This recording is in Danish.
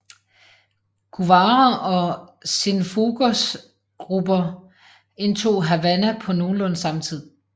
Guevara og Cienfuegos grupper indtog Havana på nogenlunde samme tid